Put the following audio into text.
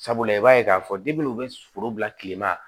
Sabula i b'a ye k'a fɔ u bɛ foro bila kile ma